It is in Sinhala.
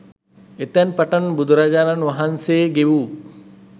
එතැන් පටන් බුදුරජාණන් වහන්සේ ගෙවූ